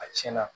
A tiɲɛna